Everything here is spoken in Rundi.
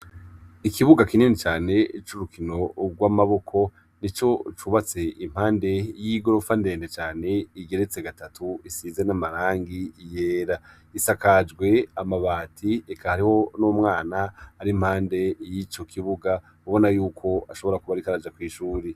Ikibuga kinini cane c’urukino rw’amaboko, ico cubatse impande y’igorofa ndende cane igeretse gatatu , isize n’amarangi yera. Isakajwe amabati eka hariho n’umwana ar’impande yico kibuga ubona yuko ashobora kubarikar’aja kwishure.